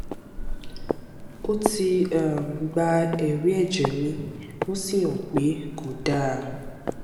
ó ti um gba èrí ẹjẹ mi ó sì hàn pé kò dáa